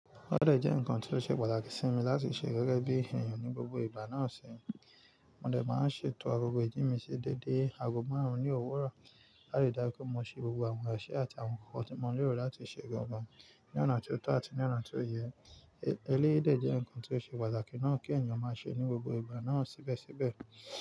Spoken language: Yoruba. Ó dẹ̀ jẹ́ ǹkan tó ṣe pàtàkì sí mi láti ṣe gẹ́gẹ́ bí èèyàn ní gbogbo ìgbà náà ṣe, mo dẹ̀ máa n ṣètò gbogbo ìjì mi ṣe déédé, aago márùn-ún ní òwúrọ̀, láti dájú mo ṣe gbogbo àwọn iṣẹ àti àwọn ǹkan tí mo lérò láti ṣe gangan ní ọ̀nà tó tọ́ àti ní ọ̀nà tó yẹ. Eléyìí dẹ̀ jẹ́ ǹkan tó ṣe pàtàkì náà kí èèyàn má ṣe ní gbogbo ìgbà náà síbẹ̀síbẹ̀